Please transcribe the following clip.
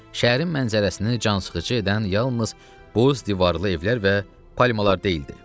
Şəhərin mənzərəsini cansıxıcı edən yalnız boz divarlı evlər və palmalar deyildi.